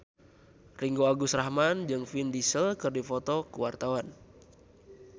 Ringgo Agus Rahman jeung Vin Diesel keur dipoto ku wartawan